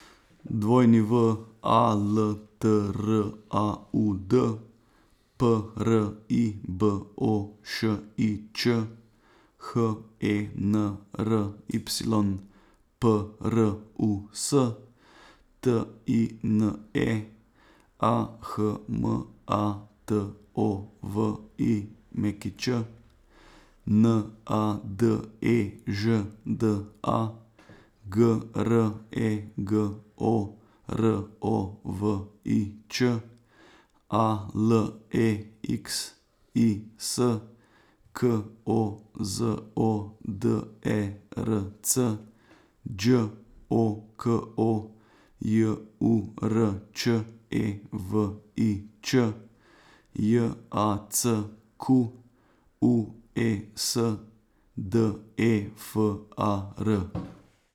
W A L T R A U D, P R I B O Š I Č; H E N R Y, P R U S; T I N E, A H M A T O V I Ć; N A D E Ž D A, G R E G O R O V I Č; A L E X I S, K O Z O D E R C; Đ O K O, J U R Č E V I Č; J A C Q U E S, D E F A R.